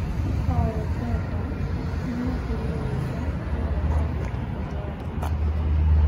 Al-Qaeda nĩmekĩrĩe ũira kũragwo kwa mũtongoria wao